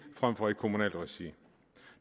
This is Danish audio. frem for i kommunalt regi